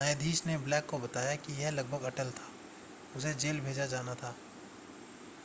न्यायाधीश ने ब्लेक को बताया कि यह लगभग अटल था उसे जेल भेजा जाना था